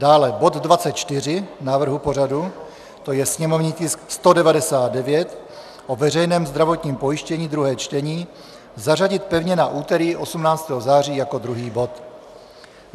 Dále bod 24 návrhu pořadu, to je sněmovní tisk 199 - o veřejném zdravotním pojištění, druhé čtení, zařadit pevně na úterý 18. září jako druhý bod.